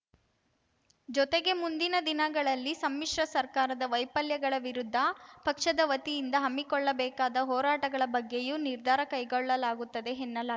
ಜೊತೆಗೆ ಮುಂದಿನ ದಿನಗಳಲ್ಲಿ ಸಮ್ಮಿಶ್ರ ಸರ್ಕಾರದ ವೈಫಲ್ಯಗಳ ವಿರುದ್ಧ ಪಕ್ಷದ ವತಿಯಿಂದ ಹಮ್ಮಿಕೊಳ್ಳಬೇಕಾದ ಹೋರಾಟಗಳ ಬಗ್ಗೆಯೂ ನಿರ್ಧಾರ ಕೈಗೊಳ್ಳಲಾಗುತ್ತದೆ ಎನ್ನಲಾ